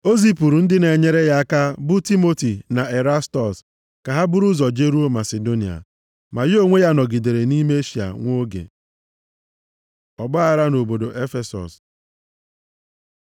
O zipụrụ ndị na-enyere ya aka, bụ Timoti na Erastọs ka ha buru ụzọ jeruo Masidonia. Ma ya onwe ya nọgidere nʼime Eshịa nwa oge. Ọgbaaghara nʼobodo Efesọs